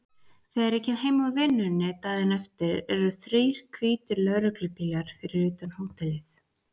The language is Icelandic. Þegar ég kem heim úr vinnunni daginn eftir eru þrír hvítir lögreglubílar fyrir utan hótelið.